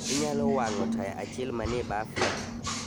Inyalo wang'o taya achiel manie bafna.